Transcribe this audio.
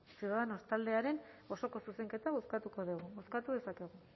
ciudadanos taldearen osoko zuzenketa bozkatuko dugu bozkatu dezakegu